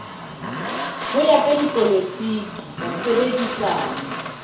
ho ya ka dipolotiki basebedisani